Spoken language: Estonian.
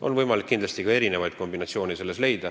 Kindlasti saab siin leida erinevaid kombinatsioone.